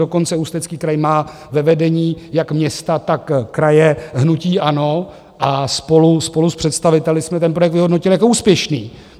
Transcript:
Dokonce Ústecký kraj má ve vedení jak města, tak kraje hnutí ANO a spolu s představiteli jsme ten projekt vyhodnotili jako úspěšný.